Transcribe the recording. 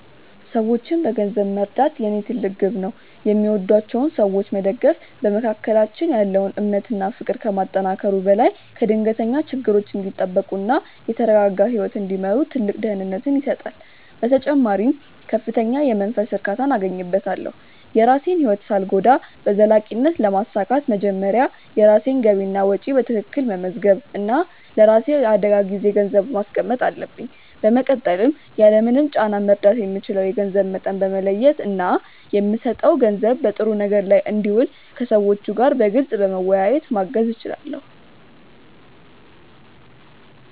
ሰዎችን በገንዘብ መርዳት የኔ ትልቅ ግብ ነው። የሚወዷቸውን ሰዎች መደገፍ በመካከላችን ያለውን እምነት እና ፍቅር ከማጠናከሩ በላይ ከድንገተኛ ችግሮች እንዲጠበቁ እና የተረጋጋ ህይወት እንዲመሩ ትልቅ ደህንነትን ይሰጣል። በተጨማሪም ከፍተኛ የመንፈስ እርካታን አገኝበታለሁ። የራሴን ህይወት ሳልጎዳ በዘላቂነት ለማሳካት መጀመሪያ የራሴን ገቢና ወጪ በትክክል መመዝገብ እና ለራሴ የአደጋ ጊዜ ገንዘብ ማስቀመጥ አለብኝ። በመቀጠልም ያለምንም ጫና መርዳት የምችለውን የገንዘብ መጠን በመለየት እና የምሰጠው ገንዘብ በጥሩ ነገር ላይ እንዲውል ከሰዎቹ ጋር በግልፅ በመወያየት ማገዝ እችላለሁ።